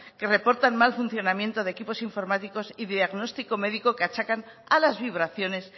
que reportan mal funcionamiento de equipos informáticos y de diagnóstico médico que achacan a las vibraciones